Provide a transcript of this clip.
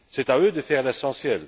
C'est à eux de faire l'essentiel.